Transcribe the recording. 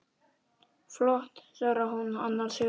Flott, svarar hún annars hugar.